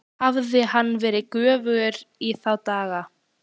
Hafði hann verið göfugri í þá daga?